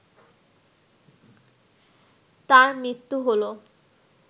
তার মৃত্যু হল